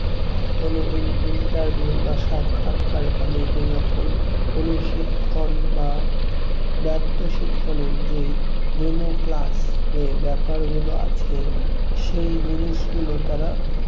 কোন in~ interview বা সাক্ষাৎকারে তাদেরকে যখন কোন শিখন বা ব্যাপ্ত শিখন এর যে demo class এ ব্যাপার গুলো আছে সেই জিনিসগুলো তারা